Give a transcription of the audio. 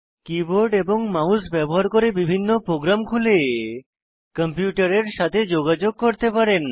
keyboard এবং mouse ব্যবহার করে বিভিন্ন প্রোগ্রাম খুলে কম্পিউটারের সাথে যোগাযোগ করতে পারেন